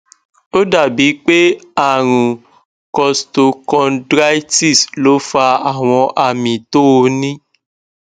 ó dàbí pé àrùn costochondritis ló fa àwọn àmì tó o ní